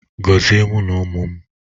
Gozie mụ na ụmụ m!